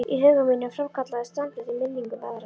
Í huga mínum framkallaðist samstundis minning um aðra